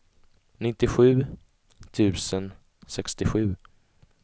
nittiosju tusen sextiosju